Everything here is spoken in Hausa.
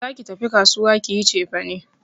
Za ki tafi kasuwa ki yi cefane!